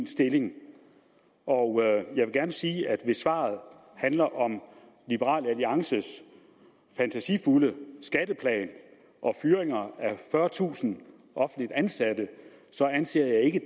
stilling og jeg vil gerne sige at hvis svaret handler om liberal alliances fantasifulde skatteplan og fyring af fyrretusind offentligt ansatte anser jeg ikke